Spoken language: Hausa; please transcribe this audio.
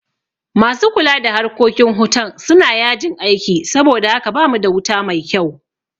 Masu kula da harkokin hutan suna yajin aiki saboda haka bamu da wuta mai kyau